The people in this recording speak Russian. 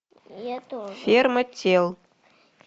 ферма тел